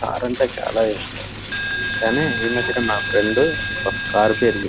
Car అంటే చాలా ఇస్టం కానీ ఏనుక మాకు ఉంది కార్ పేరు .]